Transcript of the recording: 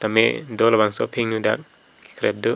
medo labangso aphinu dak kekrep dup.